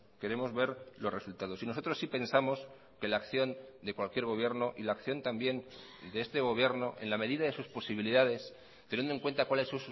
queremos ver los resultados y nosotros sí pensamos que la acción de cualquier gobierno y la acción también de este gobierno en la medida de sus posibilidades teniendo en cuenta cuáles